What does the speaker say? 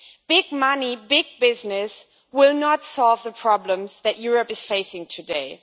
Big money, big business will not solve the problems that Europe is facing today.